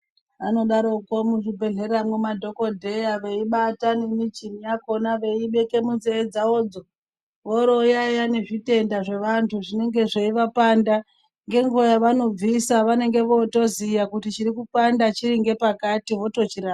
Anodaroko muzvibhedhleramwo madhokodheya veibata nemichini yakona veiibeke munzee dzavodzo voorooyaiya nezvitenda zvevantu zvinenge zveivapanda. Ngenguwa yavanobvisa venenge vootoziya kuti chinopanda chiri ngepakati votochira...